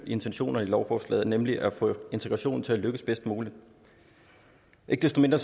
intentionerne i lovforslaget nemlig at få integrationen til at lykkes bedst muligt ikke desto mindre